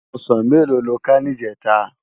Òsán méló ló ká nijètá?